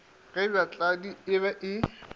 ge bjatladi e be e